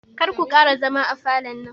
Karku ƙara zama a falon nan